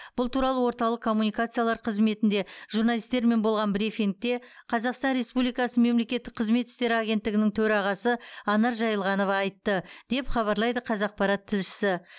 бұл туралы орталық коммуникациялар қызметінде журналистермен болған брифингте қазақстан республикасы мемлекеттік қызмет істері агенттігінің төрағасы анар жаилғанова айтты деп хабарлайды қазақпарат тілшісі